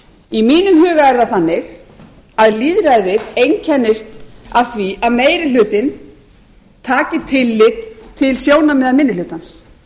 í mínum huga er það þannig að lýðræðið einkennist af því að meiri hlutinn taki tillit til sjónarmiða minni hlutans